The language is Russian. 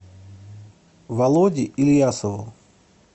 володе ильясову